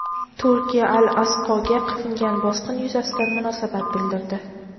Turkiya "Al-Aqso"ga qilingan bosqin yuzasidan munosabat bildirdi.